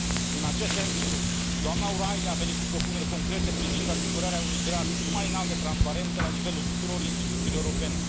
În acest sens, doamna O'Reilly a venit cu propuneri concrete privind asigurarea unui grad cât mai înalt de transparență la nivelul tuturor instituțiilor europene.